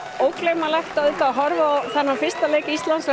ógleymanlegt að horfa á þennan fyrsta leik Íslands á